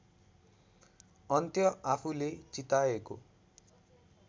अन्त्य आफूले चिताएको